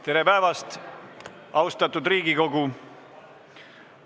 Tere päevast, austatud Riigikogu!